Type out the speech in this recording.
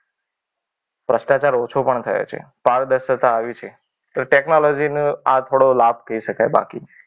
ભ્રષ્ટાચાર ઓછો પણ થયો છે. પારદર્શક આયુ છે. તો ટેકનોલોજી નો આ થોડો લાભ કહી શકાય. બાકી